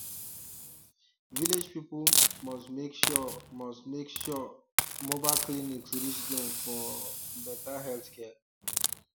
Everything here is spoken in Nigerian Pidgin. village people must make sure must make sure um mobile clinics reach dem for um better healthcare